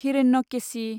Hiranyakeshi